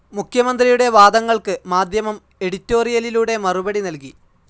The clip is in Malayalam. മുഖ്യമന്ത്രിയുടെ വാദങ്ങൾക്ക് മാധ്യമം എഡിറ്റോറിയലിലൂടെ മറുപടി നൽകി.